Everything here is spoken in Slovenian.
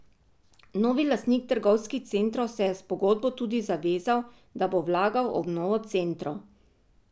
Novi lastnik trgovskih centrov se je s pogodbo tudi zavezal, da bo vlagal v obnovo centrov.